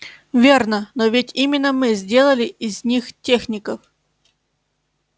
верно но ведь именно мы сделали из них техников